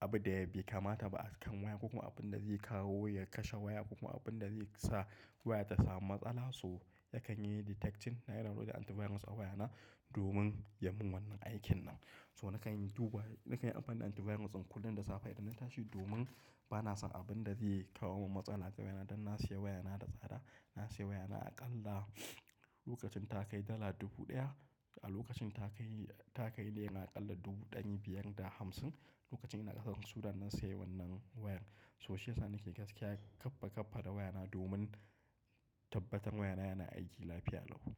abu da bai kamata ba a kan waya ko kuma abin da zai kawo ya kashe waya ko kuma abin da zai sa waya ta samu matsala. So yakan yi detecting, na downloading antivirus a wayana domin ya mun wannan aikin nan. So nakan duba, nakan yi amfani da antivirus in kullum da safe idan na tashi domin bana son abin da zai kawo min matsala a kan wayana. Dan na siya wayana da tsada, na siya wayana aƙalla lokacin ta kai dala dubu ɗaya. A lokacin ta kai, ta kai leya aƙalla dubu ɗari biyar da hamsin. Lokacin ina ƙasar Sudan na siya wannan wayan. So shi yasa nake gaskiya kaffa kaffa da wayana domin tabbatar wayana yana aiki lafiya lau.